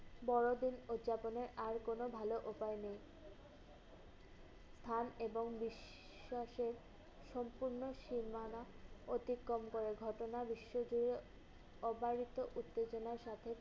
বড়দিন উৎযাপনের আর কোন ভালো উপায় নেই। স্থান এবং বিশ্বাসের সম্পূর্ণ সীমানা অতিক্রম করে। ঘটনা বিশ্বজুড়ে অবারিত উত্তেজনার সাথে